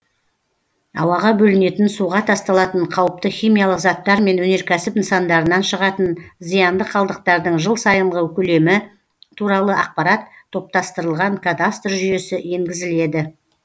ауаға бөлінетін суға тасталатын қауіпті химиялық заттар мен өнеркәсіп нысандарынан шығатын зиянды қалдықтардың жыл сайынғы көлемі туралы ақпарат топтастырылған кадастр жүйесі енгізіледі